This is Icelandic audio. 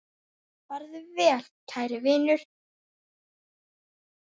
Farðu vel kæri vinur.